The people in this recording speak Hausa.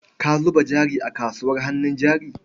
Ka zuba jari a kasuwar hannun jari.